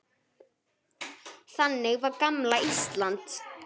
Þannig var gamla Ísland.